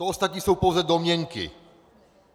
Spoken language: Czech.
To ostatní jsou pouze domněnky.